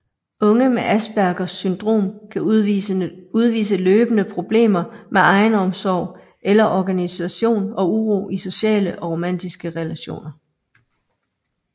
Unge med Aspergers syndrom kan udvise løbende problemer med egenomsorg eller organisation og uro i sociale og romantiske relationer